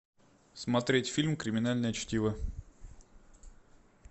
смотреть фильм криминальное чтиво